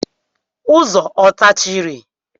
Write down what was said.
Ụzọ ọ tachiri?